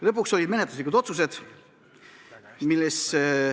Lõpuks langetasime menetluslikud otsused.